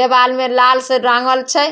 देवाल में लाल से रंगल छै।